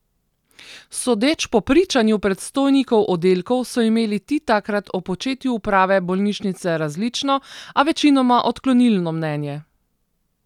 Sodeč po pričanju predstojnikov oddelkov so imeli ti takrat o početju uprave bolnišnice različno, a večinoma odklonilno mnenje.